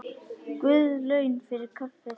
Guð laun fyrir kaffið.